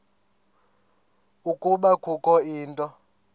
ukuba kukho into